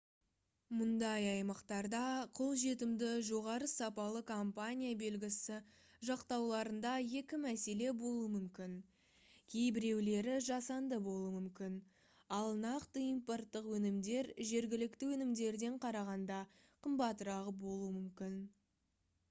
мұндай аймақтарда қолжетімді жоғары сапалы компания белгісі жақтауларында екі мәселе болуы мүмкін кейбіреулері жасанды болуы мүмкін ал нақты импорттық өнімдер жергілікті өнімдерден қарағанда қымбатырақ болуы мүмкін